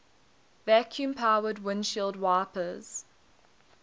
vacuum powered windshield wipers